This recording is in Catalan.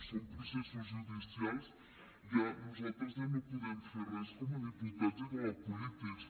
són processos judicials nosaltres ja no podem fer com a diputats ni com a polítics